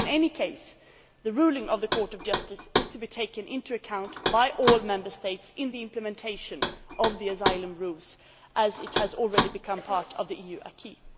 In any case, the ruling of the Court of Justice is to be taken into account by all Member States in the implementation of the asylum rules, as it has already become part of the EU acquis